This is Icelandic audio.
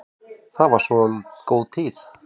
Það var svo góð tíð.